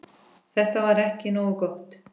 Þetta var ekki nógu gott.